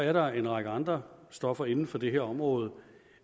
at der er en række andre stoffer inden for det her område